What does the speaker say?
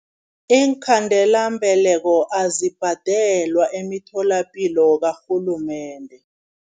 Iinkhandelambeleko azibhadelwa emitholapilo karhulumende.